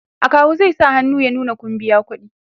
akawu zai sa hannu ya nuna Kun biya ƙuɗi